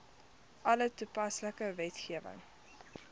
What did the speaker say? alle toepaslike wetgewing